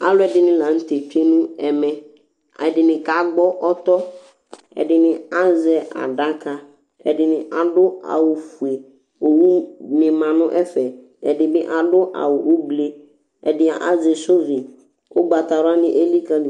alu ɛdini la nu tɛ tsʋe nu ɛmɛ, ɛdini ka gbɔ ɔtɔ, ɛdini azɛ adaka, ɛdini adu awu fue, owu ni ma nu ɛfɛ, ɛdini adu awu ubli, ɛdini azɛ shovi, ugbata wla ni elikali